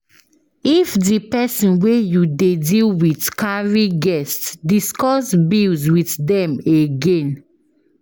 If di person wey you dey deal with carry guest, discuss bills with them again